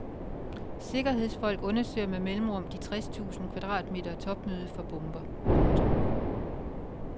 Sikkerhedsfolk undersøger med mellemrum de tres tusind kvadratmeter topmøde for bomber. punktum